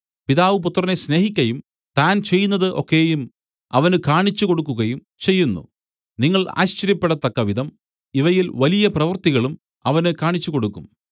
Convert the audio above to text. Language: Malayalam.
പിതാവ് പുത്രനെ സ്നേഹിക്കയും താൻ ചെയ്യുന്നതു ഒക്കെയും അവന് കാണിച്ചുകൊടുക്കുകയും ചെയ്യുന്നു നിങ്ങൾ ആശ്ചര്യപ്പെടത്തക്കവിധം ഇവയിൽ വലിയ പ്രവൃത്തികളും അവന് കാണിച്ചുകൊടുക്കും